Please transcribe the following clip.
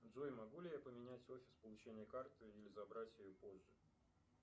джой могу ли я поменять офис получения карты или забрать ее позже